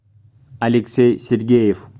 алексей сергеев